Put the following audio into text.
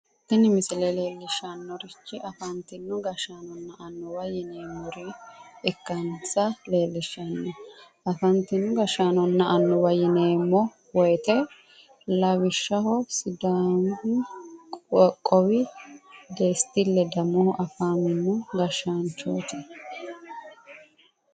tini misile leellishshannorichi afantino gashshaanonna annuwa yineemmore ikkansa leellishshanno afantino gashshaanonna annuwa yineemmo woyiite lawishshaho sidaami qoqqowi desti ledamohu afamino gashshaanchooti